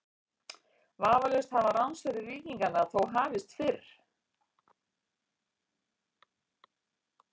Vafalaust hafa ránsferðir víkinganna þó hafist fyrr.